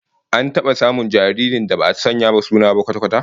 An taba samun jaririn da ba'a sanya wa suna ba kwata-kwata?